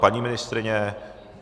Paní ministryně?